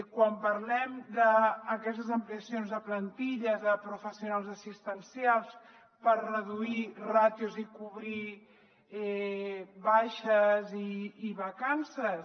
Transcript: quan parlem d’aquestes ampliacions de plantilles de professionals assistencials per reduir ràtios i cobrir baixes i vacances